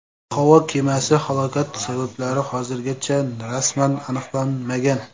Havo kemasi halokati sabablari hozirgacha rasman aniqlanmagan.